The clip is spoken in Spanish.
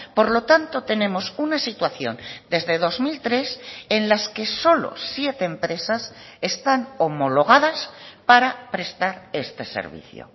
por lo tanto tenemos una situación desde dos mil tres en las que solo siete empresas están homologadas para prestar este servicio